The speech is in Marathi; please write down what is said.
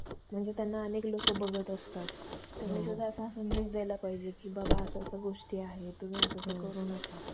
अं पेटवून देतंय ना ते अन ते घरी येतात त्याचे आई चे बहिणीचे लग्न झालं होतात मग ते घरी घरी त्यावरती ना घडी घडी ते घरी राहतात येतात. लई चांगली आहे ते